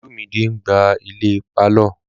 Olumide n gbá ilẹ̀ pálọ̀